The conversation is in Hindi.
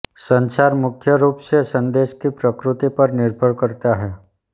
संचार मुख्य रूप से संदेश की प्रकृति पर निर्भर करता है